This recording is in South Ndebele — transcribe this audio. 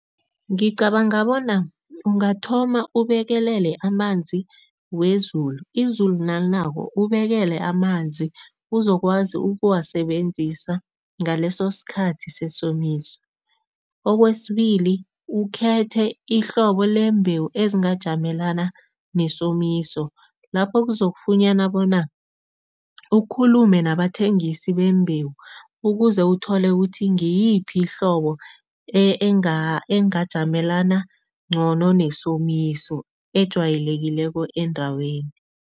Ngicabanga bona ungathoma ubekelele amanzi wezulu. Izulu nalinako ubekele amanzi uzokwazi ukuwasebenzisa ngaleso sikhathi sesomiso. Okwesibili, ukhethe ihlobo lembewu ezingajamelana nesomiso lapho kuzokufunyana bona ukhulume nabathengisi bembewu ukuze uthole ukuthi ngiyiphi ihlobo engajamelana ngcono nesomiso, ejwayelekileko endaweni.